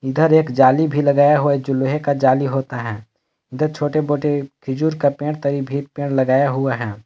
इधर एक जाली भी लगाया हुआ जो लोहे का जाली होता है इधर छोटे मोटे खीजूर का पेड़ तरी भी पेड़ लगाया हुआ है।